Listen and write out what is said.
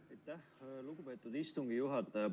Aitäh, lugupeetud istungi juhataja!